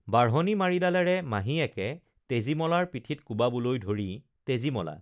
বাঢ়নি মাৰিডালেৰে মাহীয়েকে তেজীমলাৰ পিঠিত কোবাবলৈ ধৰি তেজীমলা